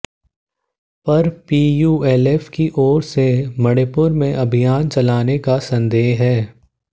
पर पीयूएलएफ की ओर से मणिपुर में अभियान चलाने का संदेह है